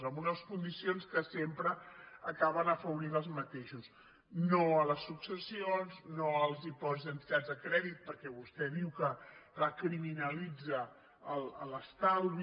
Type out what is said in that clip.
amb unes condicions que sempre acaben afavorint els mateixos no a les suc·cessions no als dipòsits en entitats de crèdit perquè vostè diu que criminalitza l’estalvi